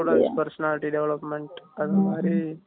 இதோட personality development எல்லாம்